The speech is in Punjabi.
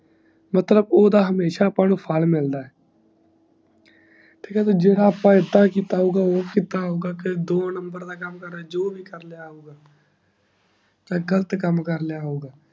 ਮਤਲਬ ਓਦਾਂ ਸਾਨੂ ਹਮੇਸ਼ਾ ਫੈਲ ਮਿਲਦਾ ਹੈ ਠੀਕ ਹ ਨਾ ਜਿਨ੍ਹਾਂ ਅੱਪਾ ਕਿੱਤਾ ਹੋਊਂਗਾ ਓ ਕਿੱਤਾ ਹੋਊਂਗਾ ਦੋ ਨੰਬਰ ਦਾ ਕਾਮ ਕਰਤਾ ਕਰੀਏ ਹੋਊਂਗਾ ਗ਼ਲਤ ਕਾਮ ਕਰਲਿਆ ਹੋਊਂਗਾ ਮਤਾਬ ਓਦਾਂ ਆਪ ਨੂੰ ਹਮੇਸ਼ਾ ਫੈਲ ਮਿਲਦਾ ਹੈ